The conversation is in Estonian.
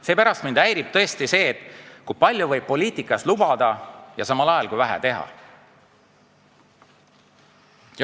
Mind tõesti häirib see, kui palju võib poliitikas lubada ja samal ajal kui vähe teha.